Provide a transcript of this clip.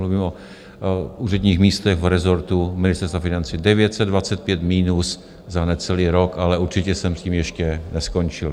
Mluvím o úředních místech v rezortu Ministerstva financí, 925 minus za necelý rok, ale určitě jsem s tím ještě neskončil.